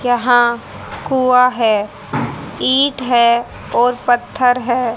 यहां कुआं है ईट है और पत्थर है।